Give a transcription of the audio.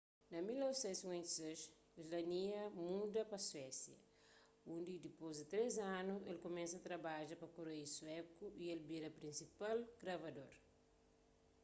na 1956 słania muda pa suésia undi ki dipôs di três anu el kumesa trabadja pa kureiu suéku y el bira prinsipal gravador